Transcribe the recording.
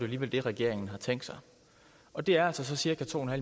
alligevel det regeringen har tænkt sig og det er altså så cirka to